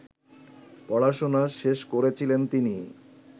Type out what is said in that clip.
পড়াশোনা শেষ করছিলেন তিনি